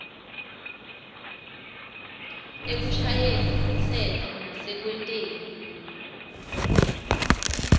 ekushayeni umtsetfo nasekwenteni